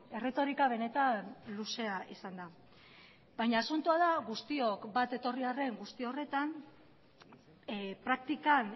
erretorika benetan luzea izan da baina asuntoa da guztiok bat etorri arren guzti horretan praktikan